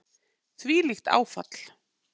Þvílíkt áfall.